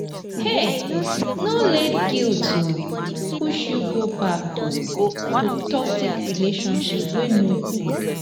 um no let guilt um push you go back um to toxic relationship wey no good.